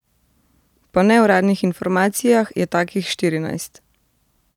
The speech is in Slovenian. Po neuradnih informacijah je takih štirinajst.